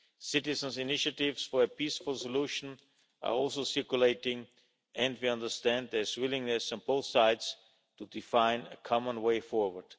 Citizens' initiatives for a peaceful solution are also circulating and we understand there is willingness on both sides to define a common way forward.